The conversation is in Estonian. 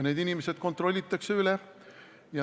Need inimesed kontrollitakse üle.